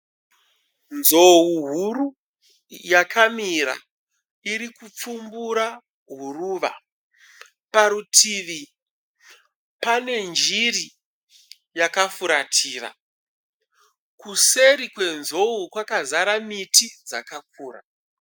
Nzou huru yakamira iripfumbura huruva. Parutivi pane njiri yakafuratira. Kuseri kwenzou kwakazara miti dzakakura.